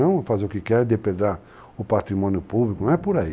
Não fazer o que quer, depredar o patrimônio público, não é por aí.